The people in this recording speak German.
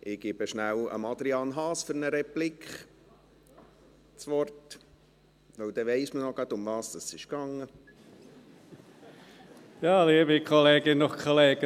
Ich gebe kurz Adrian Haas das Wort für eine Replik – dann weiss man gerade noch, worum es ging.